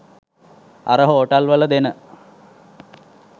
අර හෝටල් වල දෙන